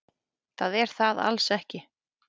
Það er það alls ekki.